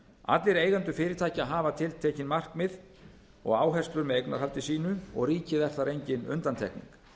allir eigendur fyrirtækja hafa tiltekin markmið og áherslur með eignarhaldi sínu og ríki er þar engin undantekning